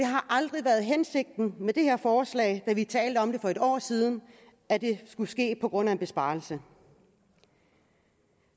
har aldrig været hensigten med det her forslag da vi talte om det for et år siden at det skulle ske på grund af en besparelse